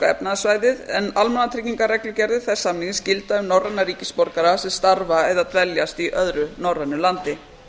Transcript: efnahagssvæðið en almannatryggingareglugerðir þess samnings gilda um norræna ríkisborgara sem starfa eða dveljast í öðru norrænu landi